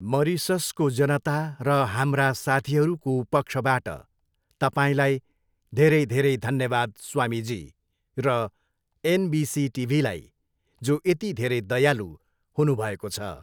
मरिससको जनता र हाम्रा साथीहरूको पक्षबाट तपाईँलाई धेरै धेरै धन्यवाद स्वामीजी र एनबिसी टिभीलाई, जो यति धेरै दयालु हुनुभएको छ।